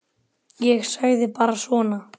Ég sagði bara svona.